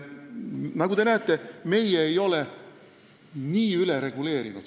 Nagu te näete, meie ei ole seda küsimust nii ülereguleerinud.